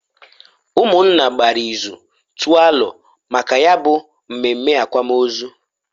Umunna gbara ịzụ tụọ alo maka ya bu mmemme akwamozu.